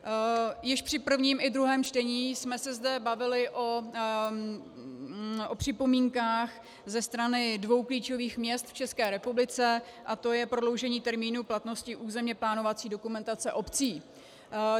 Již při prvním i druhém čtení jsme se zde bavili o připomínkách ze strany dvou klíčových měst v České republice, a to je prodloužení termínu platnosti územně plánovací dokumentace obcí.